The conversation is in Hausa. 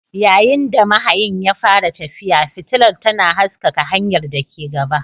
Yayin da mahayin ya fara tafiya, fitilar tana haskaka hanyar da ke gaba.